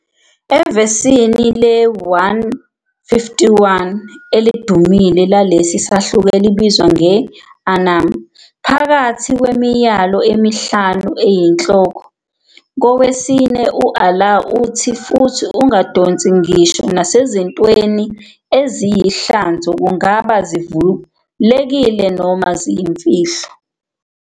Evesini le-151 elidumile lalesi sahluko elibizwa nge-An'am, phakathi kwemiyalo emihlanu eyinhloko, kowesine u-Allah uthi, "futhi ungadonsi ngisho nasezintweni eziyihlazo - kungaba zivulekile noma ziyimfihlo."